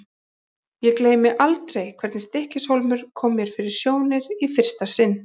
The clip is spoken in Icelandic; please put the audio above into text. Ég gleymi aldrei hvernig Stykkishólmur kom mér fyrir sjónir í fyrsta sinn.